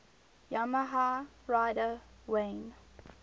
yamaha rider wayne